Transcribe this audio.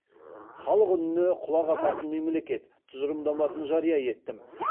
халық үніне құлақ асатын мемлекет тұжырымдамасын жария еттім